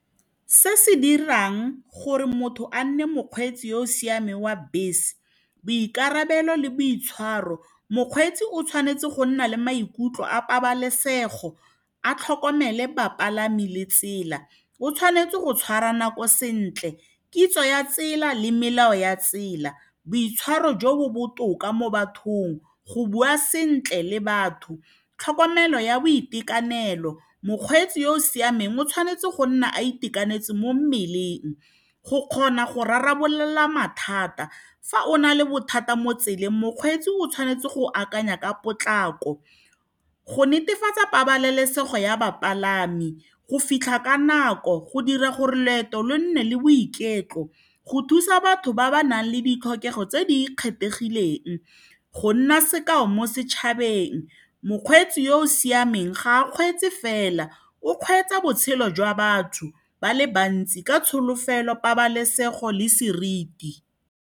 Se se dirang gore motho a nne mokgweetsi yo o siameng wa bese ke boikarabelo le boitshwaro. Mokgweetsi o tshwanetse go nna le maikutlo a pabalesego a tlhokomele bapalami le tsela. O tshwanetse go tshwara nako sentle, kitso ya tsela le melao ya tsela, boitshwaro jo bo botoka mo bathong, go bua sentle le batho. Tlhokomelo ya boitekanelo, mokgweetsi yo o siameng o tshwanetse go nna a itekanetse mo mmeleng go kgona go rarabolola mathata fa o na le bothata mo tseleng. Mokgweetsi o tshwanetse go akanya ka potlako go netefatsa pabalesego ya bapalami, go fitlha ka nako, go dira gore loeto lo nne le boiketlo, go thusa batho ba ba nang le ditlhokego tse di kgethegileng go nna sekao mo setšhabeng. Mokgweetsi yo o siameng ga a kgweetse fela, o kgweetsa botshelo jwa batho ba le bantsi ka tsholofelo, pabalesego le seriti.